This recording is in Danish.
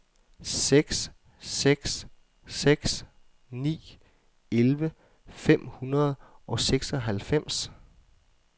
seks seks seks ni elleve fem hundrede og seksoghalvfems